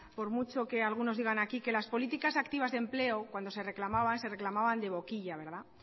por mucho que algunos digan aquí que las políticas activas de empleo cuando se reclamaban se reclamaban de boquilla